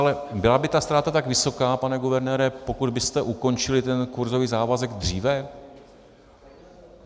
Ale byla by ta ztráta tak vysoká, pane guvernére, pokud byste ukončili ten kurzový závazek dříve?